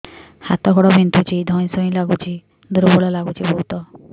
ହାତ ଗୋଡ ବିନ୍ଧୁଛି ଧଇଁସଇଁ ଲାଗୁଚି ଦୁର୍ବଳ ଲାଗୁଚି ବହୁତ